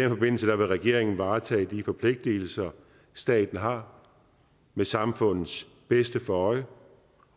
vil regeringen varetage de forpligtelser staten har med samfundets bedste for øje